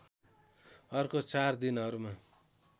अर्को चार दिनहरूमा